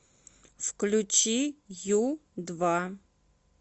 включи ю два